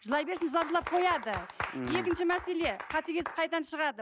жылай берсін жылап жылап қояды ммм екінші мәселе қатыгездік қайдан шығады